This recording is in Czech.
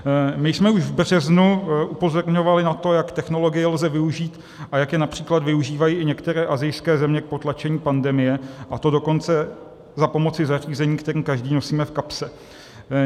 My jsme už v březnu upozorňovali na to, jak technologie lze využít a jak je například využívají i některé asijské země k potlačení pandemie, a to dokonce za pomoci zařízení, které každý nosíme v kapse.